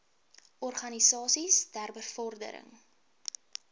organisasies ter bevordering